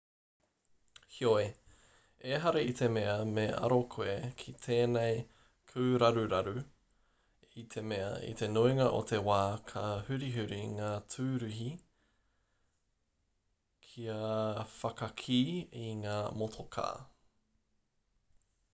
heoi ehara i te mea me aro koe ki tēnei kūraruraru i te mea i te nuinga o te wā ka hurihuri ngā tūruhi kia whakakī i ngā motokā